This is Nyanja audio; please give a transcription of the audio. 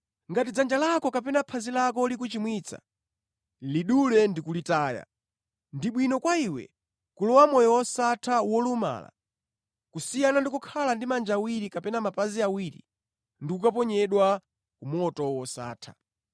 Ngati dzanja lako kapena phazi lako likuchimwitsa, lidule ndi kulitaya. Ndi bwino kwa iwe kulowa mʼmoyo wosatha wolumala kusiyana ndi kukhala ndi manja awiri kapena mapazi awiri ndi kukaponyedwa ku moto wosatha.